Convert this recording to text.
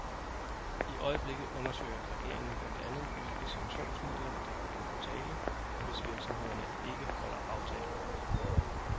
I øjeblikket undersøger regeringen blandt andet hvilke sanktionsmidler, der kan komme på tale, hvis virksomhederne ikke holder aftalen.